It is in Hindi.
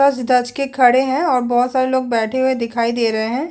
सज - धज के खड़े है और बहुत सारे लोग बैठे हुए दिखाई दे रहे है।